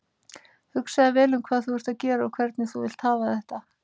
Hugsaðu vel um hvað þú ert að gera og hvernig þú vilt hafa þetta.